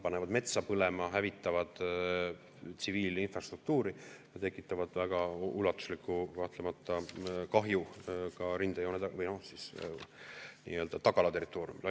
Panevad metsa põlema, hävitavad tsiviilinfrastruktuuri ja tekitavad kahtlemata väga ulatuslikku kahju ka nii-öelda tagala territooriumil.